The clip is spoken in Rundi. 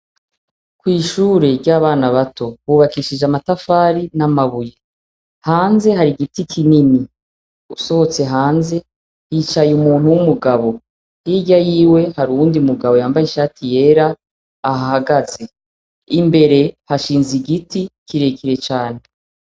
Mw'ishure ry'abana bato hubakishijwe amatafari n'amabuye. Hanze hari igiti kinini. Usohotse hanze hicaye umuntu w'umugabo. Hirya yiwe hari uwundi mugabo yambaye ishati yera, ahahagaze. Imbere hashinze igiti kirekire cane.